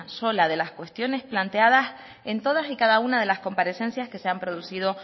sola de las cuestiones planteadas en toda y cada una de las comparecencias que se han producido